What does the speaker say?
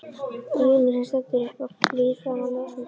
Rúnu sem stendur upp og flýr fram á ljósmyndastofuna.